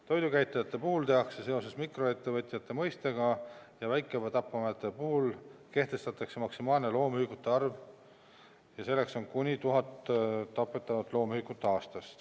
Toidukäitlejate puhul tehakse seos mikroettevõtja mõistega ja väiketapamajade puhul kehtestatakse maksimaalne loomühikute arv, milleks on kuni 1000 tapetud loomühikut aastas.